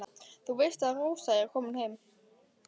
Þú veist að Rósa er komin heim.